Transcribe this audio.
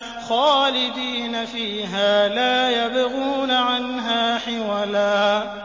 خَالِدِينَ فِيهَا لَا يَبْغُونَ عَنْهَا حِوَلًا